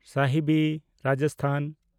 Sahibi (Rajasthan)